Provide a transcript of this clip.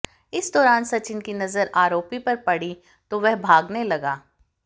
इस दौरान सचिन की नजर आरोपी पर पड़ी तो वह भागने लगा